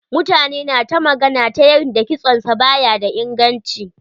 Mutane na ta magana ta yanda kitson sa ba ya da inganci.